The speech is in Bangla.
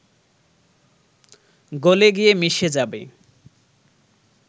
গলে গিয়ে মিশে যাবে